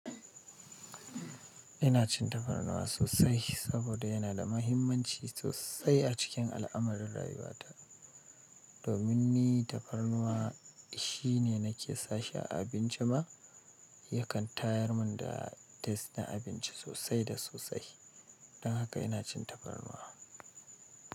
Ina cin tafarnuwa sosai, saboda yana da mahimmanci sosai a cikin al'amarin rayuwata. Domin ni tafarnuwa shine nake sashi a abinci ma, yakan tayar mun da test na abinci sosai da sosai. Dan haka ina cin tafarnuwa.